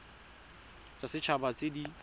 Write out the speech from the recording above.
tsa set haba tse di